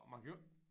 Og man kan jo ikke